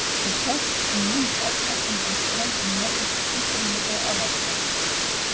Þeir sjást, en mun sjaldnar, undan ströndum Norðaustur-Síberíu og Alaska.